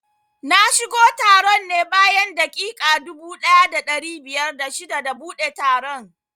Na shigo taron ne bayan daƙiƙa dubu ɗaya da ɗari biyar da shida da buɗe taron